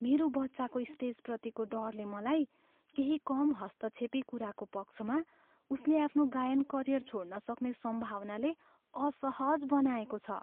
मेरो बच्चाको स्टेजप्रतिको डरले मलाई केही कम हस्तक्षेपी कुराको पक्षमा उसले आफ्नो गायन करियर छोड्न सक्ने सम्भावनाले असहज बनाएको छ।